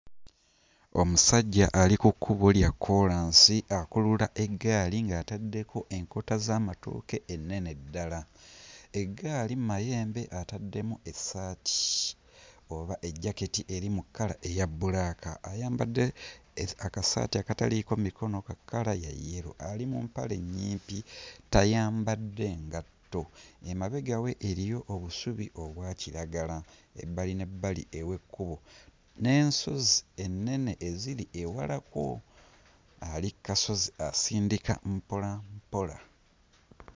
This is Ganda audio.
Omusajja ali ku kkubo lya kkoolansi akulula eggaali ng'ataddeko enkota z'amatooke ennene ddala. Eggaali mmayembe ataddemu essaati oba ejjaketi eri mu kkala eya bbulaaka. Ayambadde eki akasaati akataliiko mikono ka kkala ya yellow ali mu mpale nnyimpi, tayambadde ngatto. Emabega we eriyo obusubi obwa kiragala ebbali n'ebbali ew'ekkubo n'ensozi ennene eziri ewalako. Ali kkasozi asindika mpola mpola.